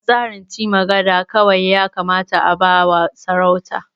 A tsarin ce magada kawai ya kamata a ba wa sarauta